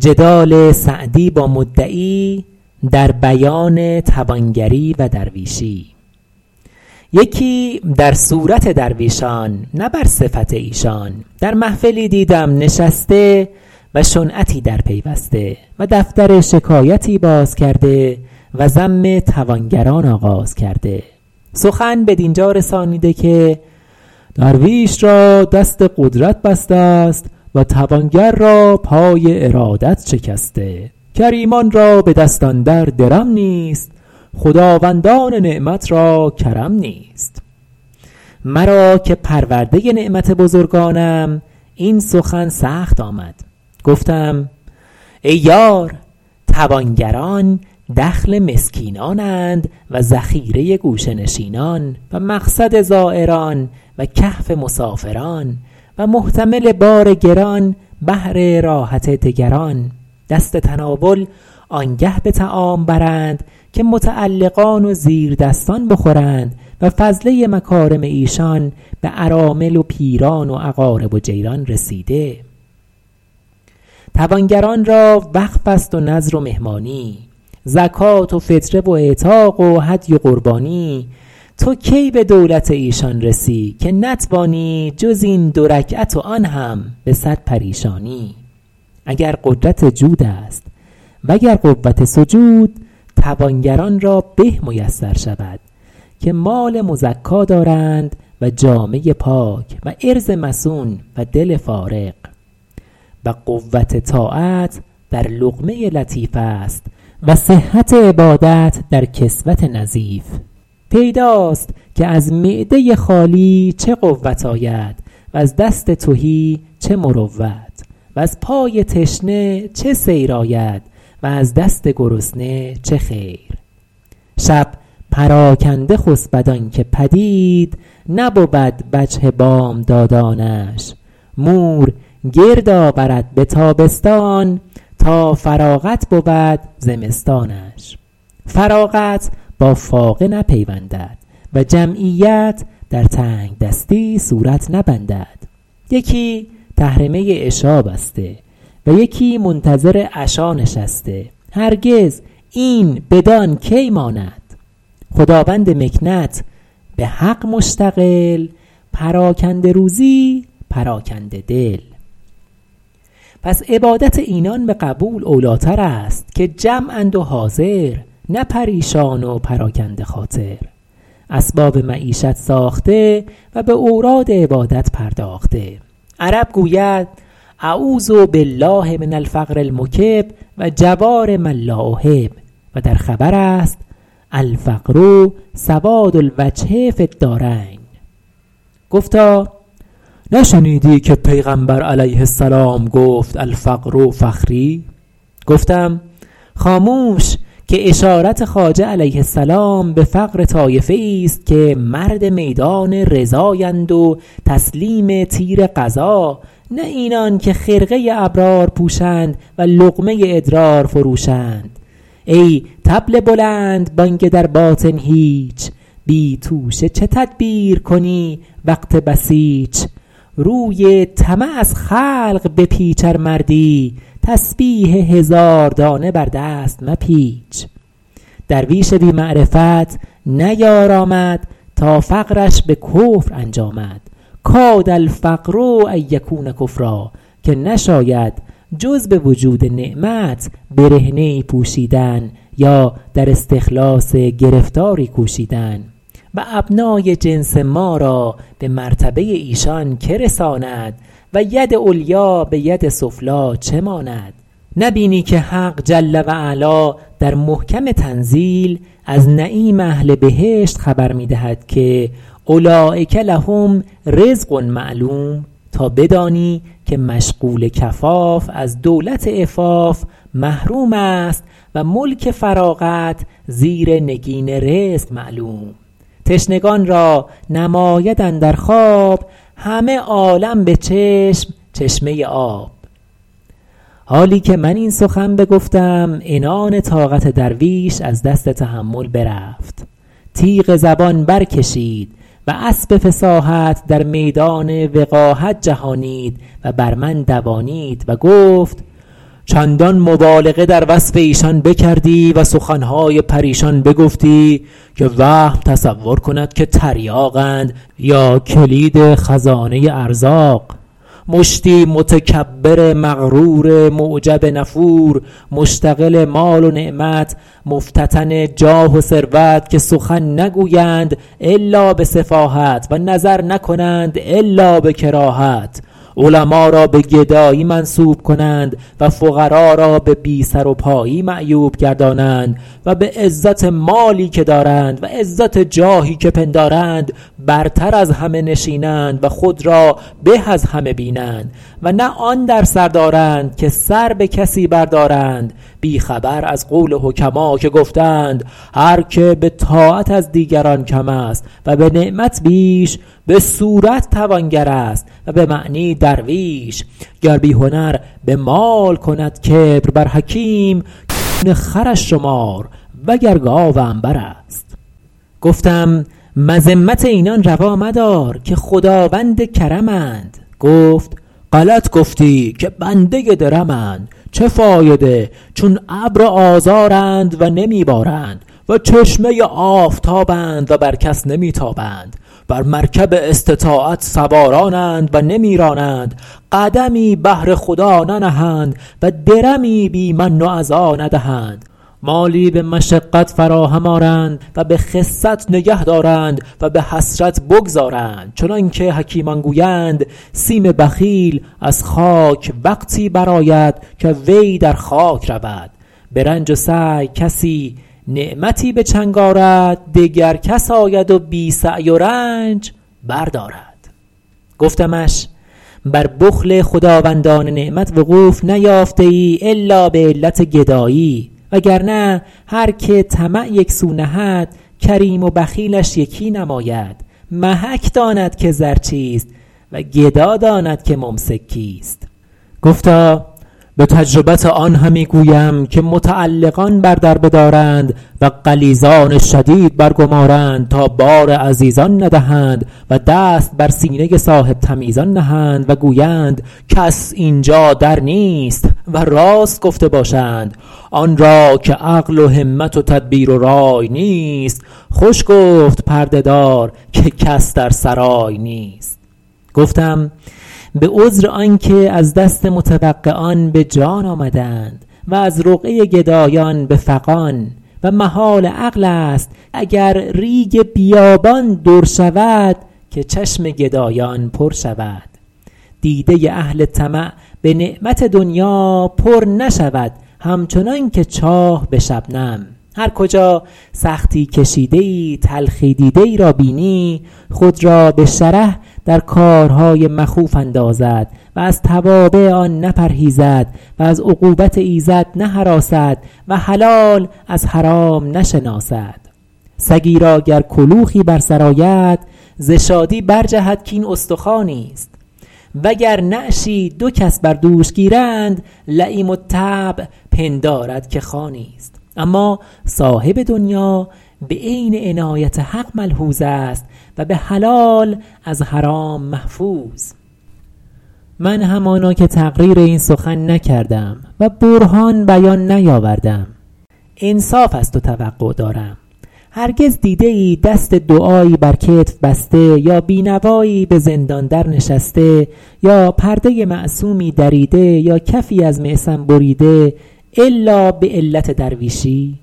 یکی در صورت درویشان نه بر صفت ایشان در محفلی دیدم نشسته و شنعتی در پیوسته و دفتر شکایتی باز کرده و ذم توانگران آغاز کرده سخن بدین جا رسانیده که درویش را دست قدرت بسته است و توانگر را پای ارادت شکسته کریمان را به دست اندر درم نیست خداوندان نعمت را کرم نیست مرا که پرورده نعمت بزرگانم این سخن سخت آمد گفتم ای یار توانگران دخل مسکینان اند و ذخیره گوشه نشینان و مقصد زایران و کهف مسافران و محتمل بار گران بهر راحت دگران دست تناول آنگه به طعام برند که متعلقان و زیردستان بخورند و فضله مکارم ایشان به ارامل و پیران و اقارب و جیران رسیده توانگران را وقف است و نذر و مهمانی زکات و فطره و اعتاق و هدی و قربانی تو کی به دولت ایشان رسی که نتوانی جز این دو رکعت و آن هم به صد پریشانی اگر قدرت جود است و گر قوت سجود توانگران را به میسر شود که مال مزکا دارند و جامه پاک و عرض مصون و دل فارغ و قوت طاعت در لقمه لطیف است و صحت عبادت در کسوت نظیف پیداست که از معده خالی چه قوت آید وز دست تهی چه مروت وز پای تشنه چه سیر آید و از دست گرسنه چه خیر شب پراکنده خسبد آن که پدید نبود وجه بامدادانش مور گرد آورد به تابستان تا فراغت بود زمستانش فراغت با فاقه نپیوندد و جمعیت در تنگ دستی صورت نبندد یکی تحرمه عشا بسته و یکی منتظر عشا نشسته هرگز این بدان کی ماند خداوند مکنت به حق مشتغل پراکنده روزی پراکنده دل پس عبادت اینان به قبول اولی تر است که جمع اند و حاضر نه پریشان و پراکنده خاطر اسباب معیشت ساخته و به اوراد عبادت پرداخته عرب گوید أعوذ بالله من الفقر المکب و جوار من لا احب و در خبر است الفقر سواد الوجه فی الدارین گفتا نشنیدی که پیغمبر علیه السلام گفت الفقر فخری گفتم خاموش که اشارت خواجه علیه السلام به فقر طایفه ای ست که مرد میدان رضای اند و تسلیم تیر قضا نه اینان که خرقه ی ابرار پوشند و لقمه ی ادرار فروشند ای طبل بلندبانگ در باطن هیچ بی توشه چه تدبیر کنی وقت بسیچ روی طمع از خلق بپیچ ار مردی تسبیح هزار دانه بر دست مپیچ درویش بی معرفت نیارامد تا فقرش به کفر انجامد کاد الفقر أن یکون کفرا که نشاید جز به وجود نعمت برهنه ای پوشیدن یا در استخلاص گرفتاری کوشیدن و ابنای جنس ما را به مرتبه ایشان که رساند و ید علیا به ید سفلی چه ماند نبینی که حق جل و علا در محکم تنزیل از نعیم اهل بهشت خبر می دهد که اولیک لهم رزق معلوم تا بدانی که مشغول کفاف از دولت عفاف محروم است و ملک فراغت زیر نگین رزق معلوم تشنگان را نماید اندر خواب همه عالم به چشم چشمه آب حالی که من این سخن بگفتم عنان طاقت درویش از دست تحمل برفت تیغ زبان برکشید و اسب فصاحت در میدان وقاحت جهانید و بر من دوانید و گفت چندان مبالغه در وصف ایشان بکردی و سخن های پریشان بگفتی که وهم تصور کند که تریاق اند یا کلید خزانه ارزاق مشتی متکبر مغرور معجب نفور مشتغل مال و نعمت مفتتن جاه و ثروت که سخن نگویند إلا به سفاهت و نظر نکنند إلا به کراهت علما را به گدایی منسوب کنند و فقرا را به بی سر و پایی معیوب گردانند و به عزت مالی که دارند و عزت جاهی که پندارند برتر از همه نشینند و خود را به از همه بینند و نه آن در سر دارند که سر به کسی بر دارند بی خبر از قول حکما که گفته اند هر که به طاعت از دیگران کم است و به نعمت بیش به صورت توانگر است و به معنی درویش گر بی هنر به مال کند کبر بر حکیم کون خرش شمار وگر گاو عنبر است گفتم مذمت اینان روا مدار که خداوند کرم اند گفت غلط گفتی که بنده درم اند چه فایده چون ابر آذارند و نمی بارند و چشمه آفتاب اند و بر کس نمی تابند بر مرکب استطاعت سواران اند و نمی رانند قدمی بهر خدا ننهند و درمی بی من و أذی ندهند مالی به مشقت فراهم آرند و به خست نگه دارند و به حسرت بگذارند چنان که حکیمان گویند سیم بخیل از خاک وقتی برآید که وی در خاک رود به رنج و سعی کسی نعمتی به چنگ آرد دگر کس آید و بی سعی و رنج بردارد گفتمش بر بخل خداوندان نعمت وقوف نیافته ای إلا به علت گدایی وگرنه هرکه طمع یک سو نهد کریم و بخیلش یکی نماید محک داند که زر چیست و گدا داند که ممسک کیست گفتا به تجربت آن همی گویم که متعلقان بر در بدارند و غلیظان شدید برگمارند تا بار عزیزان ندهند و دست بر سینه صاحب تمیزان نهند و گویند کس اینجا در نیست و راست گفته باشند آن را که عقل و همت و تدبیر و رای نیست خوش گفت پرده دار که کس در سرای نیست گفتم به عذر آن که از دست متوقعان به جان آمده اند و از رقعه گدایان به فغان و محال عقل است اگر ریگ بیابان در شود که چشم گدایان پر شود دیده اهل طمع به نعمت دنیا پر نشود همچنان که چاه به شبنم هر کجا سختی کشیده ای تلخی دیده ای را بینی خود را به شره در کارهای مخوف اندازد و از توابع آن نپرهیزد و از عقوبت ایزد نهراسد و حلال از حرام نشناسد سگی را گر کلوخی بر سر آید ز شادی برجهد کاین استخوانی ست وگر نعشی دو کس بر دوش گیرند لییم الطبع پندارد که خوانی ست اما صاحب دنیا به عین عنایت حق ملحوظ است و به حلال از حرام محفوظ من همانا که تقریر این سخن نکردم و برهان بیان نیاوردم انصاف از تو توقع دارم هرگز دیده ای دست دعایی بر کتف بسته یا بی نوایی به زندان در نشسته یا پرده معصومی دریده یا کفی از معصم بریده إلا به علت درویشی